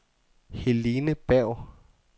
Helene Berg